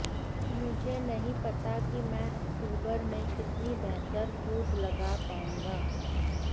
मुझे नहीं पता कि मैं अक्टूबर में कितनी बेहतर कूद लगा पाऊंगा